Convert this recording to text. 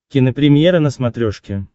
кинопремьера на смотрешке